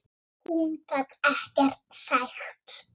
Hún gat ekkert sagt.